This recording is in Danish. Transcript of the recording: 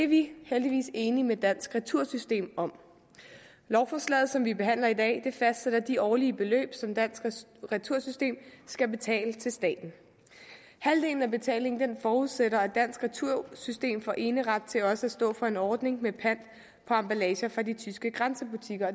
vi heldigvis enige med dansk retursystem om lovforslaget som vi behandler i dag fastsætter de årlige beløb som dansk retursystem skal betale til staten halvdelen af betalingen forudsætter at dansk retursystem får eneret til også at stå for en ordning med pant på emballage fra de tyske grænsebutikker